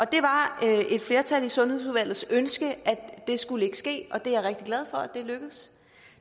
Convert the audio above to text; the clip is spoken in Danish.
det var et flertal i sundhedsudvalgets ønske at det ikke skulle ske og det er jeg rigtig glad for lykkedes